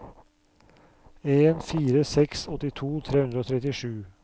en to fire seks åttito tre hundre og trettisju